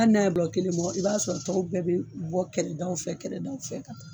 N'a y'aw bilɔ kelen mɔ i b'a sɔrɔ tɔw bɛɛ bɛ bɔ kɛrɛdaw fɛ kɛlɛdaw fɛ ka taa